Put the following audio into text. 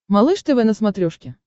малыш тв на смотрешке